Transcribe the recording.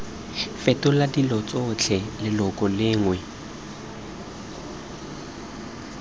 fetola dilo tsotlhe leloko lengwe